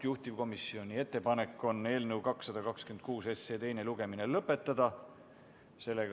Juhtivkomisjoni ettepanek on eelnõu 226 teine lugemine lõpetada.